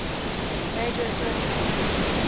major turning point